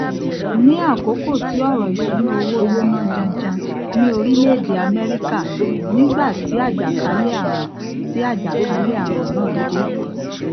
ní àkókò tí ọrọ ìṣúnná owó gbóná janjan ní orílẹèdè amẹríkà nígbà tí àjàkálẹàrùn tí àjàkálẹàrùn náà dé